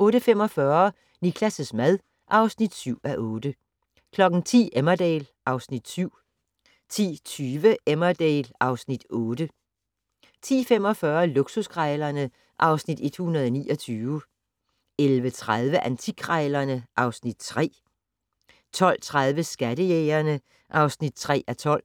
08:45: Niklas' mad (7:8) 10:00: Emmerdale (Afs. 7) 10:20: Emmerdale (Afs. 8) 10:45: Luksuskrejlerne (Afs. 129) 11:30: Antikkrejlerne (Afs. 3) 12:30: Skattejægerne (3:12)